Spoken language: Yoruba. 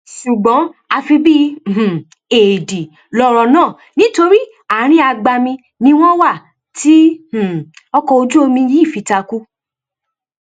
ṣùgbọn àfi bíi um éèdì lọrọ náà nítorí àárín agbami ni wọn wà tí um ọkọ ojú omi yìí fi takú